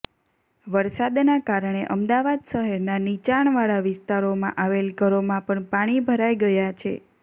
વરસાદના કારણે અમદાવાદ શહેરના નિચાણવાળા વિસ્તારોમાં આવેલ ઘરોમાં પણ પાણી ભરાઈ ગયા છે